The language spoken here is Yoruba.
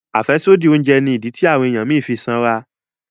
afẹsodi oúnjẹ ní ìdí tí àwọn ènìyàn mí fí sanra